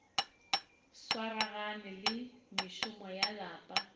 swaragane le mešomo ya lapa